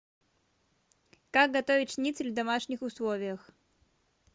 как готовить шницель в домашних условиях